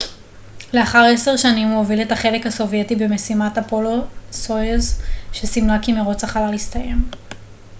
לאחר עשר שנים הוא הוביל את החלק הסובייטי במשימת אפולו-סויוז שסימלה כי מרוץ החלל הסתיים